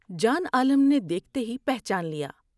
جان عالم نے دیکھتے ہی پہچان لیا ۔